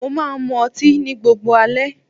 Mo máa ń mú ọtí ní gbogbo alẹ́.